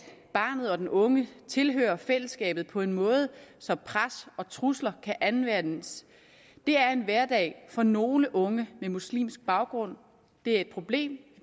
barnet og den unge tilhører fællesskabet på en måde så pres og trusler kan anvendes er en hverdag for nogle unge med muslimsk baggrund det er et problem